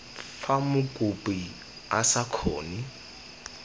fa mokopi a sa kgone